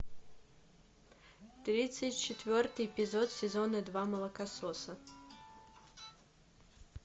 тридцать четвертый эпизод сезона два молокососы